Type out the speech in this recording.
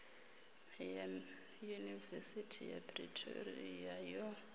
ya yunivesithi ya pretoria yo